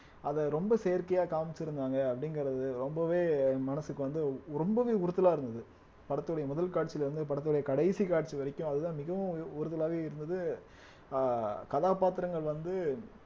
அத ரொம்ப செயற்கையா காமிச்சிருந்தாங்க அப்படிங்கறது ரொம்பவே மனசுக்கு வந்து ரொம்பவே உறுத்தலா இருந்தது படத்துடைய முதல் காட்சியில இருந்து படத்துடைய கடைசி காட்சி வரைக்கும் அதுதான் மிகவும் உறுதுலாவே இருந்தது அஹ் கதாபாத்திரங்கள் வந்து